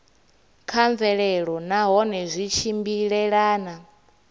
kha mvelelo nahone zwi tshimbilelana